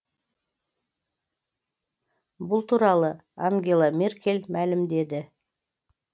бұл туралы ангела меркель мәлімдеді